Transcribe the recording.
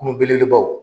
Kungo belebelebaw